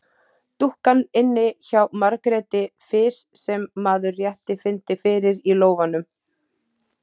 Dúkkan inni hjá Margréti fis sem maður rétt fyndi fyrir í lófanum.